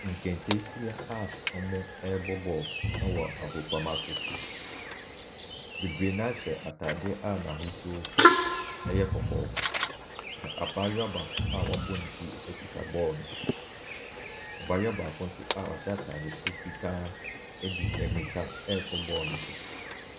Nketeesia a wɔrebɔ ball wɔ agoprama so. Bebree no a hyɛ ataadeɛ a n'ahosuo yɛ kɔkɔɔ. Na abaayewa a wɔbɔ ne ti kuta baall no. Abaayewa a wɔahyɛ ataade su fitaa rekɔ ball no so.